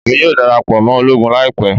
Emi yoo darapọ mọ ologun laipẹ